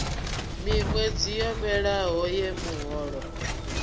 miṅwedzi yo fhelelaho ye muholo